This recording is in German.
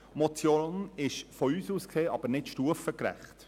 Die Motion ist aus unserer Sicht aber nicht stufengerecht.